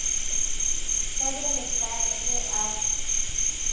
ka bjale ka ge a